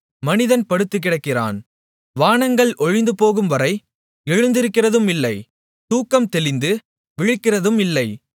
மனிதன் படுத்துக்கிடக்கிறான் வானங்கள் ஒழிந்துபோகும்வரை எழுந்திருக்கிறதும் இல்லை தூக்கம் தெளிந்து விழிக்கிறதும் இல்லை